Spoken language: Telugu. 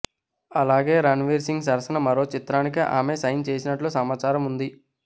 అలాగే రణ్వీర్ సింగ్ సరసన మరో చిత్రానికి ఆమె సైన్ చేసినట్లు సమాచారం ఉంది